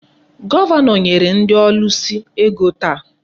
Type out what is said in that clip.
Gọvanọ nyere ndị ọlụsị ego taa.